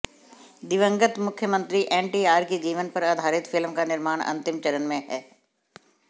दिवंगत मुख्यमंत्री एनटीआर की जीवन पर आधारित फिल्म का निर्माण अंतिम चरण में हैं